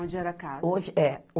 Onde era a casa. Hoje, é